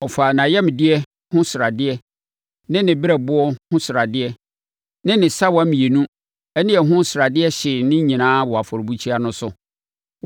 Ɔfaa nʼayamdeɛ ho sradeɛ ne ne berɛboɔ ho sradeɛ ne ne sawa mmienu no ne ɛho sradeɛ hyee ne nyinaa wɔ afɔrebukyia no so.